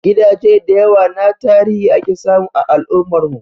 Gidaje da yawa na tarihi ake samu a al'ummar mu